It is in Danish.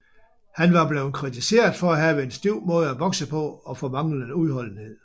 Han er blevet kritiseret for at have en stiv måde at bokse på og for manglende udholdenhed